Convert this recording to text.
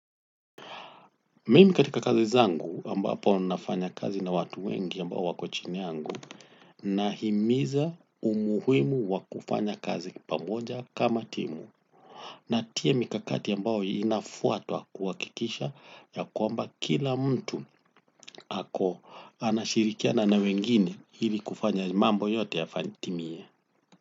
Mimi katika kazi zangu ambapo nafanya kazi na watu wengi ambao wako chini yangu nahimiza umuhimu wakufanya kazi pamoja kama timu natia mikakati ambayo inafuatwa kuhakikisha ya kwamba kila mtu ako anashirikiana na wengine ili kufanya mambo yote yatimiye.